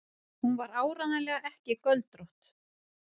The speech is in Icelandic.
Hún var áreiðanlega ekki göldrótt.